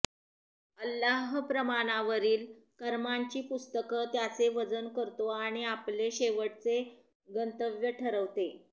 अल्लाह प्रमाणावरील कर्मांची पुस्तक त्याचे वजन करतो आणि आपले शेवटचे गंतव्य ठरवते